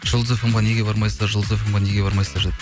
жұлдыз фмге неге бармайсыздар жұлдыз фмге неге бармайсыздар деп